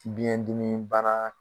Biɲɛn dimi banna.